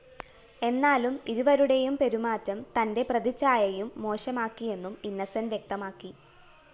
എന്നാ‍ലും ഇരുവരുടെയും പെരുമാറ്റം തന്റെ പ്രതിച്ഛായയും മോശമാക്കിയെന്നും ഇന്നോസന്റ്‌ വ്യക്തമാക്കി